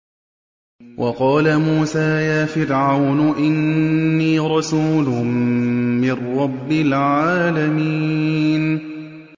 وَقَالَ مُوسَىٰ يَا فِرْعَوْنُ إِنِّي رَسُولٌ مِّن رَّبِّ الْعَالَمِينَ